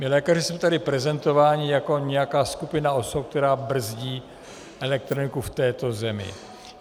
My lékaři jsme tady prezentováni jako nějaká skupina osob, která brzdí elektroniku v této zemi.